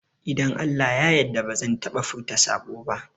Idan Allah ya yarda bazan taɓa furta saɓo ba